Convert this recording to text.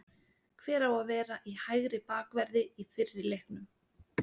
Hver á að vera í hægri bakverði í fyrri leiknum?